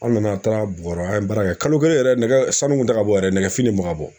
An nana an taara Bɔrɔ an ye baara kɛ, kalo kelen yɛrɛ nɛgɛ sanu kun tɛ ka bɔ yɛrɛ nɛgɛfin de kun bɛ ka bɔ